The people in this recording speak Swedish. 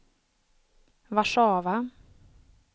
Warszawa